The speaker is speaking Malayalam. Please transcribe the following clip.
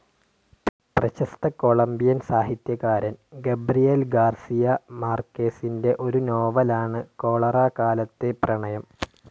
പ്രശസ്ത കൊളംബിയൻ സാഹിത്യകാരൻ ഗബ്രിയേൽ ഗാർസിയ മാർകേസിൻ്റെ ഒരു നോവലാണ് കൊളറാകാലത്തെ പ്രണയം.